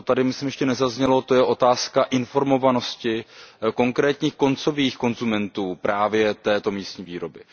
To tady, myslím, ještě nezaznělo, to je otázka informovanosti konkrétních koncových konzumentů právě této místní výroby.